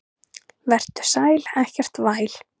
Vertu sæl, ekkert væl.